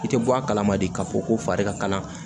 I tɛ bɔ a kalama de k'a fɔ ko fari ka kala